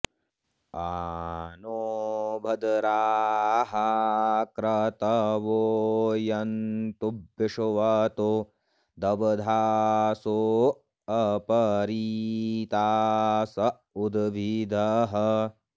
आ नो॑ भ॒द्राः क्रत॑वो यन्तु वि॒श्वतोऽद॑ब्धासो॒ अप॑रीतास उ॒द्भिदः॑